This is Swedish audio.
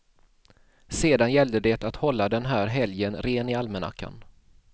Sedan gällde det att hålla den här helgen ren i almanackan.